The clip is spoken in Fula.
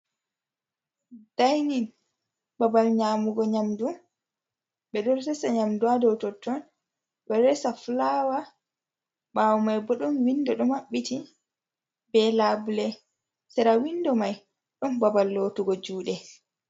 Daainin, babal nyaamugo nyamdu, ɓe ɗo resa nyamdu ha dow totton, ɓe ɗo resa fulaawa, ɓaawo mai bo ɗon windo ɗo maɓɓiti, be laabule, sera windo mai, ɗon babal lootugo juuɗe.